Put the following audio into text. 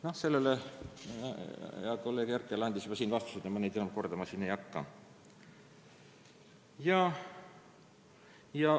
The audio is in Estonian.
Noh, sellele hea kolleeg Herkel andis siin juba vastuse ja ma seda kordama ei hakka.